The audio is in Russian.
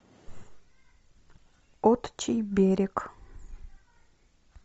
отчий берег